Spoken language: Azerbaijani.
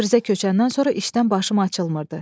Təbrizə köçəndən sonra işdən başım açılmırdı.